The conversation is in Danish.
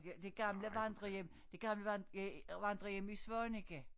Ja de gamle vandrehjem det gamle vandrehjem i Svaneke